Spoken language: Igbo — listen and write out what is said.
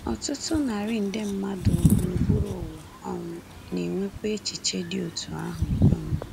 Ọtụtụ narị nde mmadụ gburugburu ụwa um na-enwekwa echiche dị otú ahụ. um